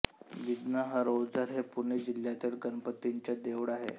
विघ्नहर ओझर हे पुणे जिल्ह्यातील गणपतीचे देऊळ आहे